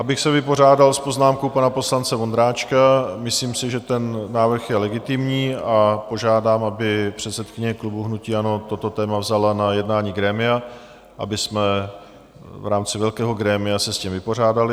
Abych se vypořádal s poznámkou pana poslance Vondráčka, myslím si, že ten návrh je legitimní, a požádám, aby předsedkyně klubu hnutí ANO toto téma vzala na jednání grémia, abychom v rámci velkého grémia se s tím vypořádali.